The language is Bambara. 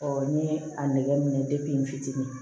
n'i ye a nɛgɛ minɛ n fitinin